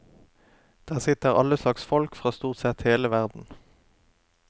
Der sitter alle slags folk fra stort sett hele verden.